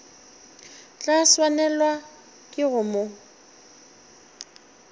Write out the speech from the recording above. tla swanelwa ke go mo